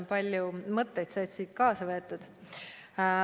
Palju mõtteid sai siit kaasa võetud.